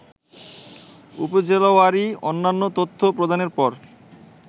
উপজেলাওয়ারি অন্যান্য তথ্য প্রদানের পর